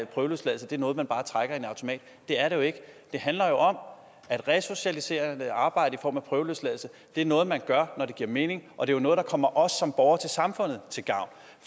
prøveløsladelse er noget man bare trækker i en automat det er det jo ikke det handler om at resocialiserende arbejde i form af prøveløsladelse er noget man gør når det giver mening og det er noget der kommer os som borgere i samfundet til gavn